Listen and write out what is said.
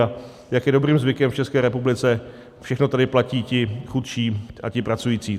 A jak je dobrým zvykem v České republice, všechno tady platí ti chudší a ti pracující.